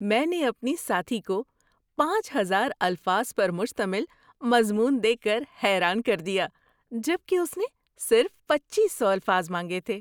میں نے اپنی ساتھی کو پانچ ہزار الفاظ پر مشتمل مضمون دے کر حیران کر دیا جب کہ اس نے صرف پچیس سو الفاظ مانگے تھے۔